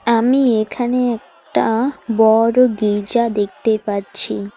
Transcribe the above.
আমি এখানে একটা বড়ো গির্জা দেখতে পাচ্ছি।